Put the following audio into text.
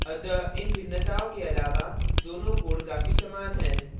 अतः इन भिन्नताओं के अलावा दोनों codes काफी समान हैं